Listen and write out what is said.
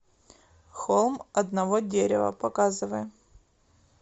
холм одного дерева показывай